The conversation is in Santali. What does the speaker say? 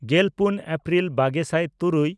ᱜᱮᱞᱯᱩᱱ ᱮᱯᱨᱤᱞ ᱵᱟᱜᱮ ᱥᱟᱭ ᱛᱩᱨᱩᱭ